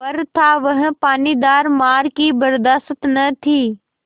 पर था वह पानीदार मार की बरदाश्त न थी